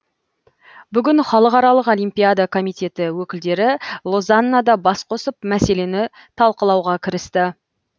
бүгін халықаралық олимпиада комитеті өкілдері лозаннада бас қосып мәселені талқылауға кірісті